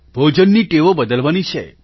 ભોજનની ટેવો બદલવાની છે